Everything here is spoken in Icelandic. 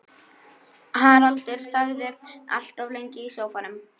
Haraldur þagði allt of lengi í sófanum.